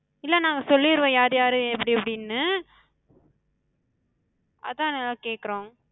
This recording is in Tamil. இல்ல நாங்க சொல்லிருவோ யார் யாரு எப்டி எப்டின்னு. அதா நாங்க கேக்குறோ.